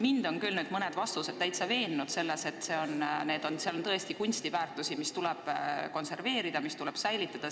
Mind on küll mõned teie vastused veennud selles, et meil on tõesti kunstiväärtusi, mis tuleb konserveerida, mis tuleb säilitada.